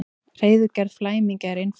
Hreiðurgerð flæmingja er einföld.